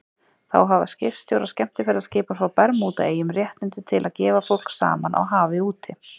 Þá hafa skipstjórar skemmtiferðaskipa frá Bermúdaeyjum réttindi til að gefa fólk saman á hafi úti.